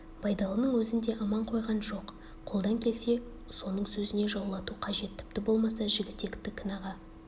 байдалының өзін де аман қойған жоқ қолдан келсе соның өзіне жаулату қажет тіпті болмаса жігітекті кінәға